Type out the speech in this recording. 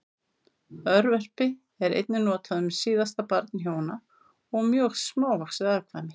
Örverpi er einnig notað um síðasta barn hjóna og mjög smávaxið afkvæmi.